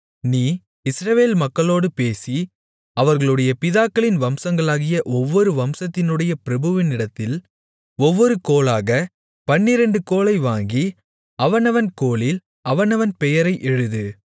நீ இஸ்ரவேல் மக்களோடு பேசி அவர்களுடைய பிதாக்களின் வம்சங்களாகிய ஒவ்வொரு வம்சத்தினுடைய பிரபுவினிடத்தில் ஒவ்வொரு கோலாகப் பன்னிரண்டு கோலை வாங்கி அவனவன் கோலில் அவனவன் பெயரை எழுது